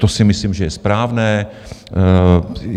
To si myslím, že je správné.